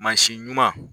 Mansin ɲuman